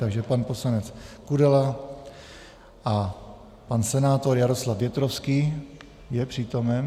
Takže pan poslanec Kudela a pan senátor Jaroslav Větrovský, je přítomen?